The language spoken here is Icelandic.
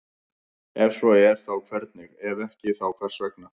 Ef svo er þá hvernig, ef ekki þá hvers vegna?